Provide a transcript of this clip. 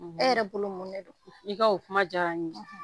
; E yɛrɛ bolo mun de do? I ka o kuma diyara n ɲe;